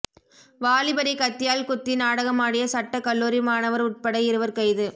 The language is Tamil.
வாலிபரை கத்தியால் குத்தி நாடகமாடிய சட்ட கல்லுாரி மாணவர் உட்பட இருவர் கைது